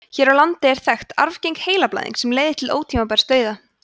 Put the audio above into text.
hér á landi er þekkt arfgeng heilablæðing sem leiðir til ótímabærs dauða